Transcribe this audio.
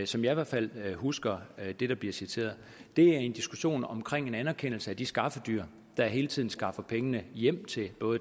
som jeg i hvert fald husker det der bliver citeret det er en diskussion om en anerkendelse af de skaffedyr der hele tiden skaffer pengene hjem til